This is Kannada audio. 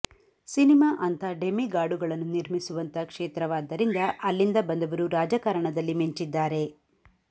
ಸಿನಿಮಾ ಅಂಥ ಡೆಮಿಗಾಡುಗಳನ್ನು ನಿರ್ಮಿಸುವಂಥ ಕ್ಷೇತ್ರವಾದ್ದರಿಂದ ಅಲ್ಲಿಂದ ಬಂದವರು ರಾಜಕಾರಣದಲ್ಲಿ ಮಿಂಚಿದ್ದಾರೆ